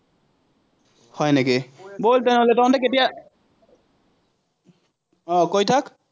হয় নেকি? বল তেনেহলে, তহঁতি কেতিয়া আহ কৈ থাক।